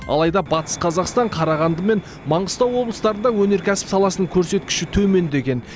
алайда батыс қазақстан қарағанды мен маңғыстау облыстарында өнеркәсіп саласының көрсеткіші төмендеген